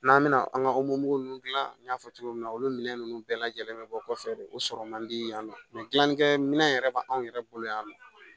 N'an bɛna an ka ninnu dilan n y'a fɔ cogo min na olu minɛ ninnu bɛɛ lajɛlen bɛ bɔ kɔfɛ de o sɔrɔ man di yan nɔ mɛ gilani kɛ minɛn yɛrɛ b'an yɛrɛ bolo yan nɔ